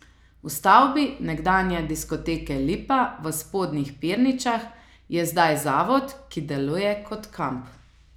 V stavbi nekdanje diskoteke Lipa v Spodnjih Pirničah je zdaj zavod, ki deluje kot kamp.